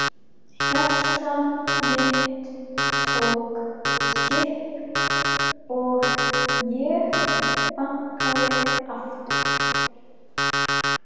Hjarta mitt tók kipp og ég bankaði aftur.